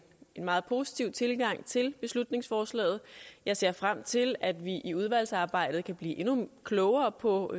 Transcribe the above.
meget positiv tilgang til beslutningsforslaget jeg ser frem til at vi i udvalgsarbejdet kan blive endnu klogere på